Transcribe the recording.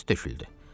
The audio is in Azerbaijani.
Özü töküldü.